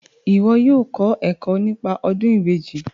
Iwọ yóò kọ ẹkọ nípa ọdun ìbejì